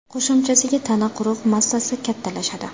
Qo‘shimchasiga, tana quruq massasi kattalashadi.